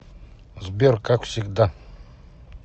сбер как всегда